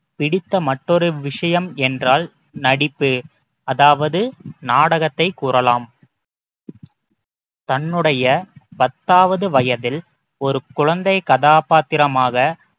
பிடித்த மற்றொரு விஷயம் என்றால் நடிப்பு அதாவது நாடகத்தை கூறலாம் தன்னுடைய பத்தாவது வயதில் ஒரு குழந்தை கதாபாத்திரமாக